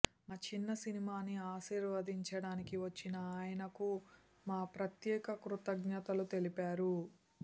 మా చిన్న సినిమాని ఆశీర్వదించడానికి వచ్చిన ఆయనకు మా ప్రత్యేక కృతజ్ఞతలు తెలిపారు